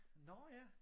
Nårh ja